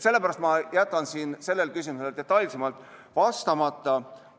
Sellepärast jätan ma sellele küsimusele detailsemalt vastamata.